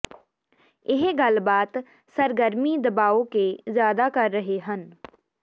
ਇਹ ਗੱਲਬਾਤ ਸਰਗਰਮੀ ਦਬਾਓ ਕੇ ਜ਼ਿਆਦਾ ਕਰ ਰਹੇ ਹਨ